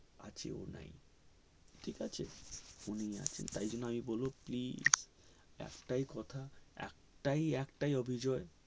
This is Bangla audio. কাছেও নাই ঠিক আছে phone ও আছে তাই জন্য আমি বলবো please তা কি একটাই কথা একটাই অভিজয়